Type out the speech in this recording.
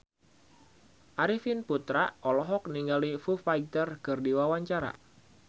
Arifin Putra olohok ningali Foo Fighter keur diwawancara